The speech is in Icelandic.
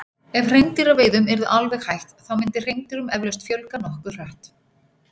ef hreindýraveiðum yrði alveg hætt þá myndi hreindýrum eflaust fjölga nokkuð hratt